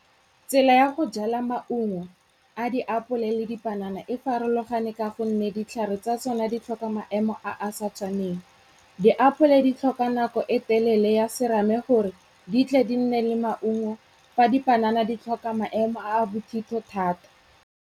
Tsela ya go jala maungo a diapole le dipanana e farologane ka go nne ditlhare tsa tsone di tlhoka maemo a a sa tshwaneng. Diapole di tlhoka nako e telele ya serame gore di tle di nne le maungo fa dipanana di tlhoka maemo a a bothitho thata.